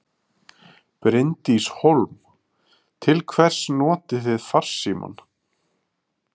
Bryndís Hólm: Til hvers notið þið farsímann?